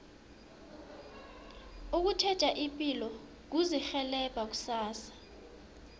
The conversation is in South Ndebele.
ukutjheja ipilo kuzirhelebha kusasa